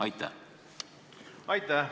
Aitäh!